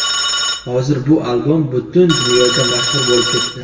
Hozir bu albom butun dunyoga mashhur bo‘lib ketdi.